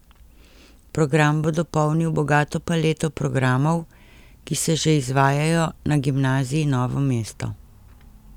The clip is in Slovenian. Program bo dopolnil bogato paleto programov, ki se že izvajajo na Gimnaziji Novo mesto.